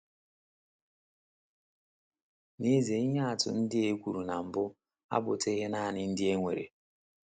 N’ezie, ihe atụ ndị a ekwuru na mbụ abụtụghị nanị ndị e nwere.